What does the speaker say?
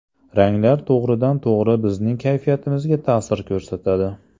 Ranglar to‘g‘ridan-to‘g‘ri bizning kayfiyatimizga ta’sir ko‘rsatadi.